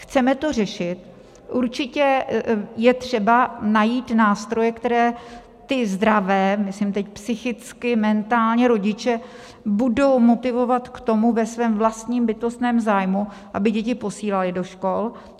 Chceme to řešit, určitě je třeba najít nástroje, které ty zdravé - myslím teď psychicky, mentálně - rodiče budou motivovat k tomu, ve svém vlastním bytostném zájmu, aby děti posílali do škol.